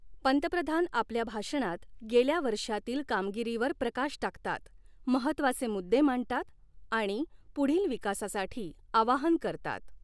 पंतप्रधान आपल्या भाषणात गेल्या वर्षातील कामगिरीवर प्रकाश टाकतात, महत्त्वाचे मुद्दे मांडतात आणि पुढील विकासासाठी आवाहन करतात.